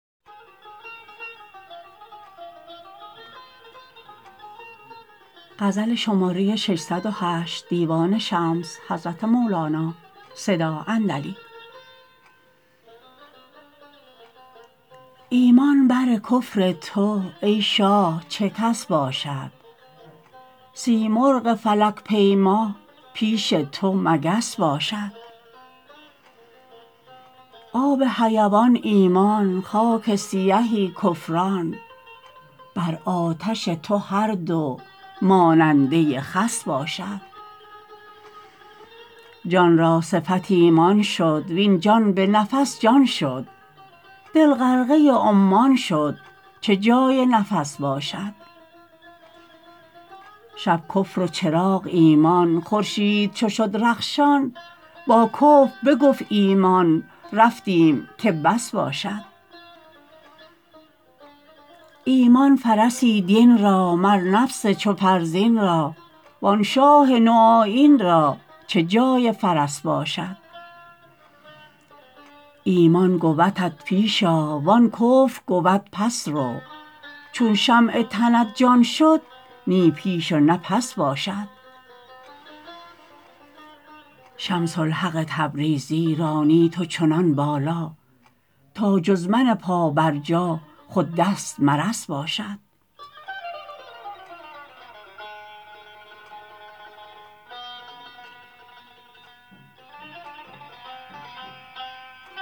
ایمان بر کفر تو ای شاه چه کس باشد سیمرغ فلک پیما پیش تو مگس باشد آب حیوان ایمان خاک سیهی کفران بر آتش تو هر دو ماننده خس باشد جان را صفت ایمان شد وین جان به نفس جان شد دل غرقه عمان شد چه جای نفس باشد شب کفر و چراغ ایمان خورشید چو شد رخشان با کفر بگفت ایمان رفتیم که بس باشد ایمان فرسی دین را مر نفس چو فرزین را وان شاه نوآیین را چه جای فرس باشد ایمان گودت پیش آ وان کفر گود پس رو چون شمع تنت جان شد نی پیش و نی پس باشد شمس الحق تبریزی رانی تو چنان بالا تا جز من پابرجا خود دست مرس باشد